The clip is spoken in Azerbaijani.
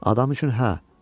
Adam üçün hə.